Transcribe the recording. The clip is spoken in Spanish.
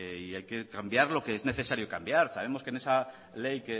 y hay que cambiar lo que es necesario cambiar sabemos que en esa ley